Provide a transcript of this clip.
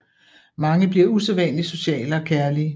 Mange bliver usædvanligt sociale og kærlige